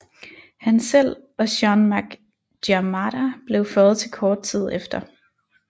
Han selv og Séan Mac Diarmada blev føjet til kort tid efter